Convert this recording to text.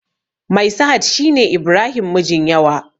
Mai sahad shine ibrahim mijin yawa